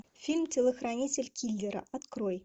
фильм телохранитель киллера открой